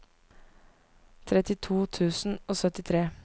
trettito tusen og syttitre